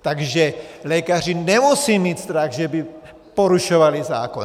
Takže lékaři nemusí mít strach, že by porušovali zákon.